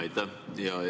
Aitäh!